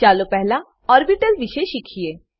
ચાલો પહેલા ઓર્બીટલ વિષે શીખીએ